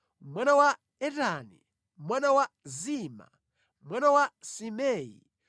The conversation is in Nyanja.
mwana wa Etani, mwana wa Zima, mwana Simei,